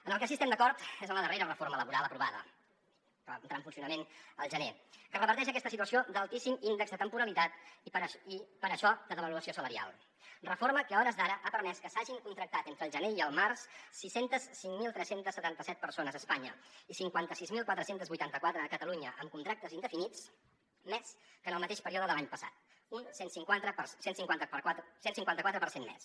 en el que sí que estem d’acord és en la darrera reforma laboral aprovada que va entrar en funcionament al gener que reverteix aquesta situació d’altíssim índex de temporalitat i per això de devaluació salarial reforma que a hores d’ara ha permès que s’hagin contractat entre el gener i el març sis cents i cinc mil tres cents i setanta set persones a espanya i cinquanta sis mil quatre cents i vuitanta quatre a catalunya amb contractes indefinits més que en el mateix període de l’any passat un cent i cinquanta quatre per cent més